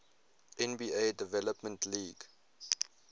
nba development league